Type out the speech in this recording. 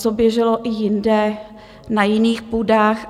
Co běželo i jinde na jiných půdách.